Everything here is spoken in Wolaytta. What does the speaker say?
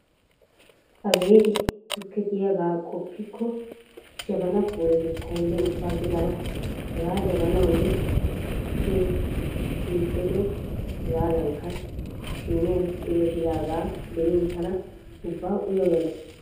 Abeeti, tukke de'iyagaa qoppkko jabanaa puulatrlettaynne ubba gidana. Haggaa jabanaanne tukkee shiiqolido hegaadankka siiniyan tigettidaagaa be'in tana ubba uya uya gees.